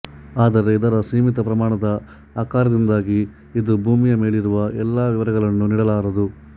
ಆದರೆ ಇದರ ಸೀಮಿತ ಪ್ರಮಾಣದ ಆಕಾರದಿಂದಾಗಿ ಇದು ಭೂಮಿಯ ಮೇಲಿರುವ ಎಲ್ಲ ವಿವರಗಳನ್ನೂ ನೀಡಲಾರದು